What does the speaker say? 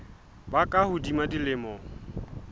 ba ka hodimo ho dilemo